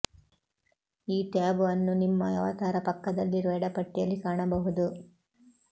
ಈ ಟ್ಯಾಬ್ ಅನ್ನು ನಿಮ್ಮ ಅವತಾರ ಪಕ್ಕದಲ್ಲಿರುವ ಎಡ ಪಟ್ಟಿಯಲ್ಲಿ ಕಾಣಬಹುದು